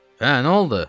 Hə, nə oldu?